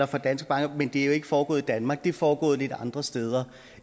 for danske banker men det er jo ikke foregået i danmark det er foregået lidt andre steder